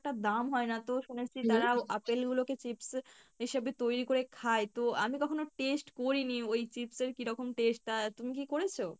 দাম হয়না তো শুনেছি তারাও আপেল গুলো কে chips হিসাবে তৈরি করে খায় তো আমি কখনো taste করিনি ওই chips এর কিরকম taste, তা তুমি কী করেছো?